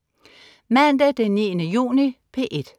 Mandag den 9. juni - P1: